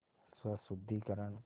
स्वशुद्धिकरण